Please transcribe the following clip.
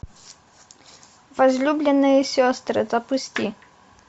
возлюбленные сестры запусти